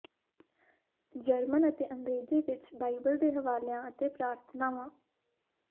German ਅਤੇ ਅੰਗਰੇਜ਼ੀ ਵਿਚ ਬਾਈਬਲ ਦੇ ਹਵਾਲਿਆਂ ਅਤੇ ਪ੍ਰਾਰਥਨਾਵਾਂ